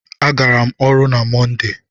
A gara m ọrụ na Mọnde.